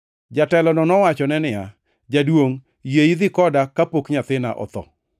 Jatelono nowachone niya, “Jaduongʼ, yie idhi koda kapok nyathina otho.”